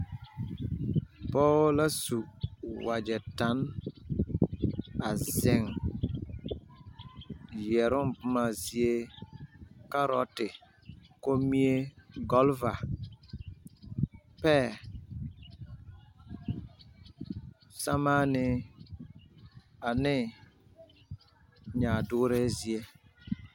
Poo la su wagyɛ tan a zeŋ yɛrooŋ bomma zie kaarote, kommie, gɔlva, pɛɛ, sɛmaanee ane nyaadɔɔree zie.